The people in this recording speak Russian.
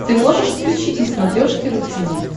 ты можешь включить на смотрешке ру ти ви